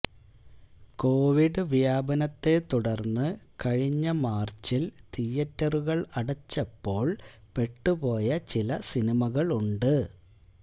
Covid വ്യാപനത്തെ തുടര്ന്ന് കഴിഞ്ഞ മാര്ച്ചില് തിയറ്ററുകള് അടച്ചപ്പോള് പെട്ടുപോയ ചില സിനിമകളുണ്ട്